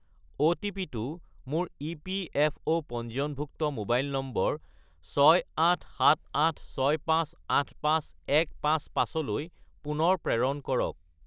অ’টিপি-টো মোৰ ইপিএফঅ’ পঞ্জীয়নভুক্ত মোবাইল নম্বৰ 68786585155 -লৈ পুনৰ প্ৰেৰণ কৰক